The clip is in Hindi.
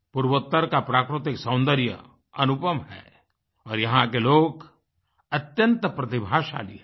पूर्वोत्तर का प्राकृतिक सौन्दर्य अनुपम है और यहाँ के लोग अत्यंत प्रतिभाशाली है